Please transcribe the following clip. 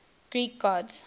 greek gods